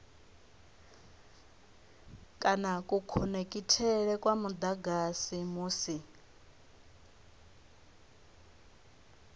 kana kukhonekhithele kwa mudagasi musi